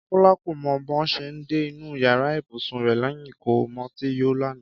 Kọ́lá kò mọ bó ṣe dé inú yàrá ibùsùn rẹ̀ lẹ́yìn tó mutí yó lánàá